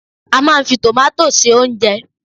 A máa n fi tomato se oúnjẹ